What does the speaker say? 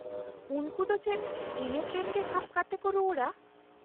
ᱩᱱᱠᱩ ᱫᱚ ᱪᱮᱫ ᱤᱱᱟᱹ ᱴᱨᱮᱱ ᱜᱮ ᱥᱟᱵ ᱠᱟᱛᱮ ᱠᱚ ᱨᱩᱣᱟᱹᱲᱼᱟ ?